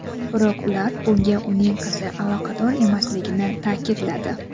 Biroq ular bunga uning qizi aloqador emasligini ta’kidladi.